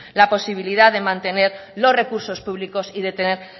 la posibilidad de mantener los recursos públicos y de tener